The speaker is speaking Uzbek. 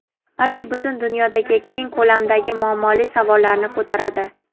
balki butun dunyodagi keng ko‘lamdagi muammoli savollarni ko‘taradi.